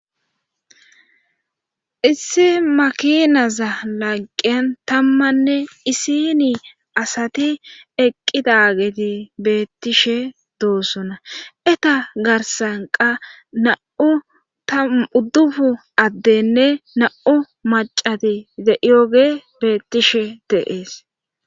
Isse makinaza lagqeyn tammanne isini asati eqqidageti beettishe doossona eta garsanqa na'u tuddufu addenne na'u macati yoge bettishe deees.